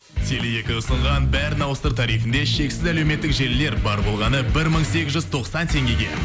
теле екі ұсынған бәрін ауыстыр тарифінде шексіз әлеуметтік желілер бар болғаны бір мың сегіз жүз тоқсан теңгеге